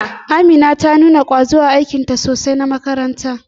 Amina ta nuna kwazo sosai a aikinta na makaranta.